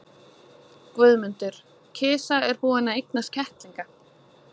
GUÐMUNDUR: Kisa er búin að eignast kettlinga.